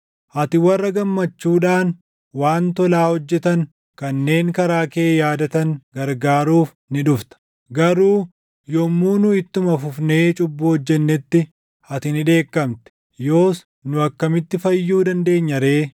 Ati warra gammachuudhaan waan tolaa hojjetan kanneen karaa kee yaadatan gargaaruuf ni dhufta. Garuu yommuu nu ittuma fufnee cubbuu hojjennetti ati ni dheekkamte. Yoos nu akkamitti fayyuu dandeenya ree?